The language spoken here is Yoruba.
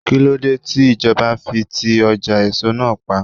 Kíló dé tí ìjọba fi ti ọjà èso náà pa?